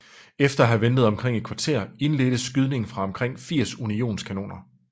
Efter at have ventet omkring et kvarter indledtes skydningen fra omkring 80 unionskanoner